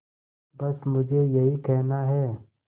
बस मुझे यही कहना है